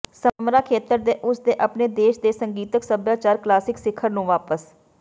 ਸਮਰਾ ਖੇਤਰ ਦੇ ਉਸ ਦੇ ਆਪਣੇ ਦੇਸ਼ ਦੇ ਸੰਗੀਤਕ ਸਭਿਆਚਾਰ ਕਲਾਸਿਕ ਸਿਖਰ ਨੂੰ ਵਾਪਸ